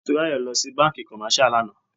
Motúnráyò lọ sí bánkì commercial lànà.